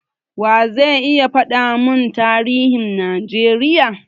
Wa ze iya faɗa mun tarihin Najeriya?